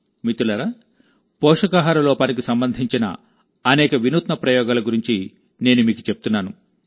మిత్రులారాపోషకాహార లోపానికి సంబంధించిన అనేక వినూత్న ప్రయోగాల గురించి నేను మీకు చెప్తున్నాను